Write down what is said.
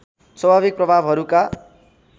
स्वाभाविक प्रभावहरूका